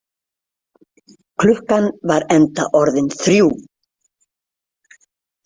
Klukkan var enda orðin þrjú.